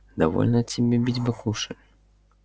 довольно тебе бить баклуши